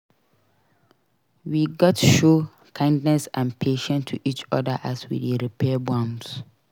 We gats show kindness and patience to each other as we dey repair bonds.